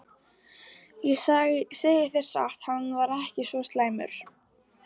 Ég segi þér satt- hann var ekki svo slæmur.